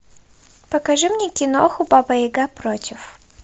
покажи мне киноху баба яга против